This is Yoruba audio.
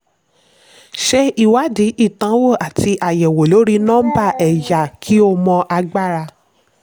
ṣe ìwádìí ìdánwò àti àyẹ̀wò lórí nọ́mbà ẹ̀yà kí o mọ agbára.